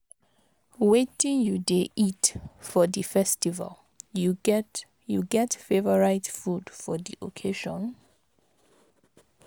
Wetin you dey eat for di festival, you get you get favorite food for di occasion?